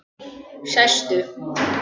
Sestu